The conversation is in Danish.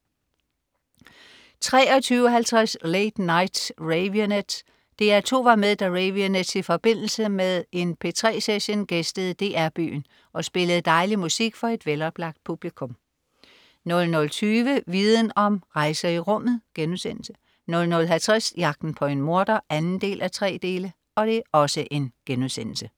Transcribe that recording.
23.50 Late Night Raveonettes. DR2 var med, da Raveonettes i forbindelse med en P3 Session gæstede DR Byen og spillede dejlig musik for et veloplagt publikum 00.20 Viden Om: Rejser i rummet* 00.50 Jagten på en morder 2:3*